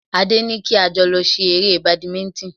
Adé ní kí a jọ lọ ṣe eré Badminton